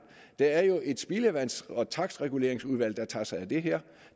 der er jo et spildevands og takstreguleringsudvalg der tager sig af det her